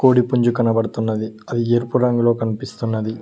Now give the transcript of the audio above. కోడిపుంజు కనబడుతున్నది అది ఎరుపు రంగులో కనిపిస్తున్నది